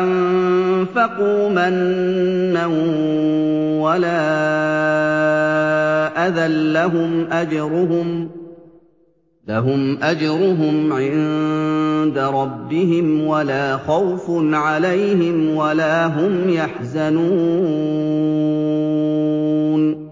أَنفَقُوا مَنًّا وَلَا أَذًى ۙ لَّهُمْ أَجْرُهُمْ عِندَ رَبِّهِمْ وَلَا خَوْفٌ عَلَيْهِمْ وَلَا هُمْ يَحْزَنُونَ